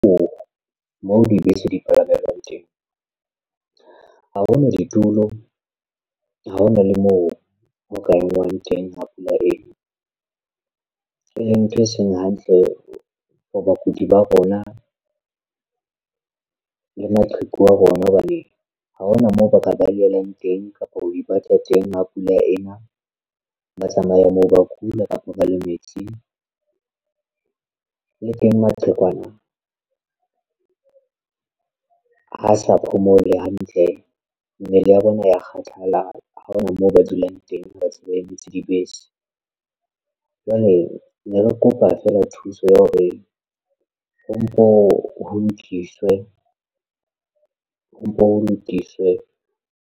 Moo dibese di palamelwang teng ha ho na ditulo ha hona le moo ho ka engwang teng ha pula ena e leng ntho e seng hantle for bakudi ba rona le maqheku a rona hobane ha hona moo ba ka balehelang tengkapa ho ipata teng ha pula ena ba tsamaya moo ba kula kapa ba le metsi le teng maqhekwana ha sa phomole hantle ntle mmele ya bona ya kgathala ha hona moo ba dulang teng ba sebeditse dibese. Jwale ne re kopa fela thuso ya hore ho mpo lokiswe.